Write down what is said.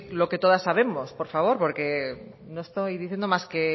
lo que todas sabemos por favor poro estoy diciendo más que